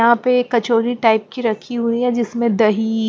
यहाँ पे कचौरी टाइप की रखी हुई है जिसमें दही --